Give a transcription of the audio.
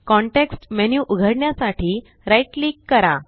context menu उघडण्यासाठी right click करा